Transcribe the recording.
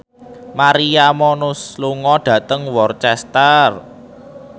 Maria Menounos lunga dhateng Worcester